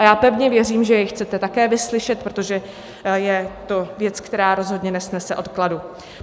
A já pevně věřím, že jej chcete také vyslyšet, protože je to věc, která rozhodně nesnese odkladu.